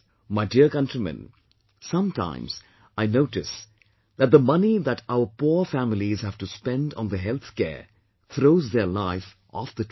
My dear countrymen, sometimes I notice that the money that our poor families have to spend on their healthcare, throws their life off the track